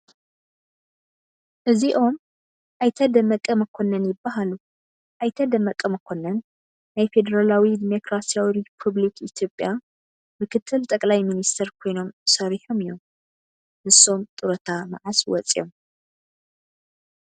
እዚኦም ኣይተ ደመቀ መኮንን ይበሃሉ፡፡ ኣይተ ደመቀ መኮንን ናይ ፌደራላዊ ዲሞክራሲያዊ ሪፖብሊክ ኢትዮጵያ ምክትል ጠቅላይ ሚኒስተር ኮይኖም ሰሪሖም እዮም፡፡ ንሶም ጡረታ መዓዝ ወፂኦም?